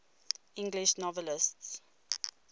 english novelists